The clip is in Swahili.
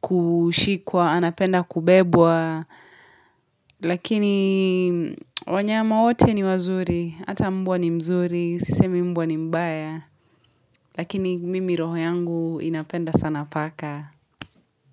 kushikwa, anapenda kubebwa, lakini wanyama wote ni wazuri, hata mbwa ni mzuri, sisemi mbwa ni mbaya, lakini mimi roho yangu inapenda sana paka.